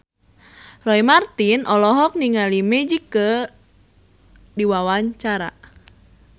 Roy Marten olohok ningali Magic keur diwawancara